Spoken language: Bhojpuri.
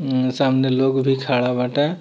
मम्म सामने लोग भी खड़ा बाटे |